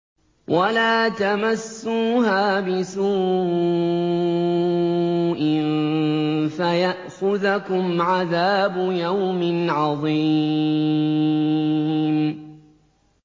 وَلَا تَمَسُّوهَا بِسُوءٍ فَيَأْخُذَكُمْ عَذَابُ يَوْمٍ عَظِيمٍ